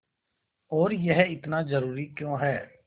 और यह इतना ज़रूरी क्यों है